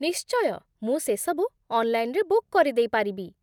ନିଶ୍ଚୟ, ମୁଁ ସେସବୁ ଅନ୍‌ଲାଇନ୍‌ରେ ବୁକ୍ କରିଦେଇପାରିବି।